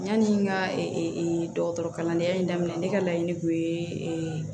Yanni n ka dɔgɔtɔrɔkalandenya in daminɛ ne ka laɲini kun ye